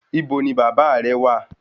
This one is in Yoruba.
Ibo ni Baba re wa?